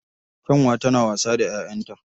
Kyanwa tana wasa da 'ya'yanta